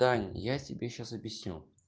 таня я тебе сейчас объясню